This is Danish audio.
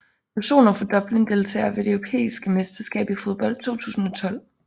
Personer fra Dublin Deltagere ved det europæiske mesterskab i fodbold 2012